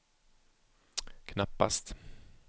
knappast